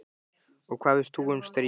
Og hvað veist þú um stríð?